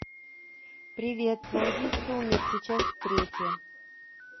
привет найди сумерки часть третья